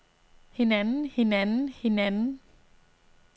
hinanden hinanden hinanden